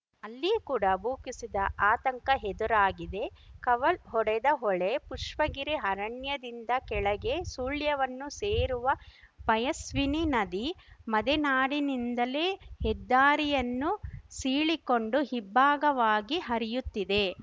ಅಲ್ಲಿ ಕೂಡ ಭೂಕುಸಿದ ಆತಂಕ ಎದುರಾಗಿದೆ ಕವಲ್ ಹೊಡೆದ ಹೊಳೆ ಪುಷ್ಪಗಿರಿ ಅರಣ್ಯದಿಂದ ಕೆಳಗೆ ಸುಳ್ಯವನ್ನು ಸೇರುವ ಪಯಸ್ವಿನಿ ನದಿ ಮದೆನಾಡಿನಿಂದಲೇ ಹೆದ್ದಾರಿಯನ್ನು ಸೀಳಿಕೊಂಡು ಇಬ್ಭಾಗವಾಗಿ ಹರಿಯುತ್ತಿದೆ